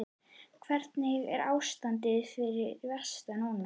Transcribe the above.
Hvernig er ástandið fyrir vestan núna?